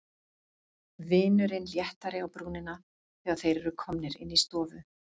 Vinurinn léttari á brúnina þegar þeir eru komnir inn í stofu.